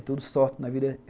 É tudo sorte na vida.